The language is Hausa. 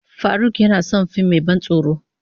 Farauk yana son fim mai ban tsoro.